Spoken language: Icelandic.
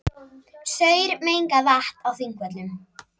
Saurmengað vatn á Þingvöllum